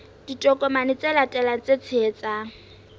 ditokomane tse latelang tse tshehetsang